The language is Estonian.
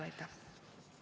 Aitäh!